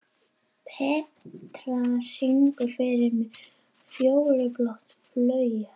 Petrea, syngdu fyrir mig „Fjólublátt flauel“.